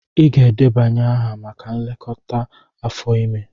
Ị ga-edebanye aha maka nlekọta afọ ime!